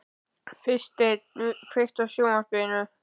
Freysteinn, kveiktu á sjónvarpinu.